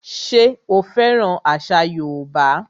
Ṣé o fẹ́ràn àṣà yóòbá?